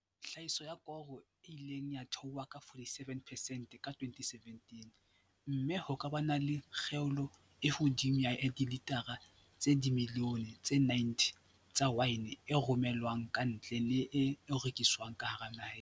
Tlhahiso ya koro e ile ya theoha ka 47 percent ka 2017 mme ho ka ba le kgaelo e hodimo ya dilitara tse dimi lione tse 90 tsa waene e rome lwang kantle le e rekiswang ka naheng.